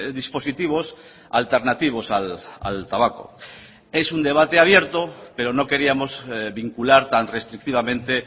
dispositivos alternativos al tabaco es un debate abierto pero no queríamos vincular tan restrictivamente